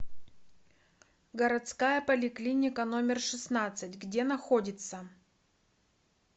городская поликлиника номер шестнадцать где находится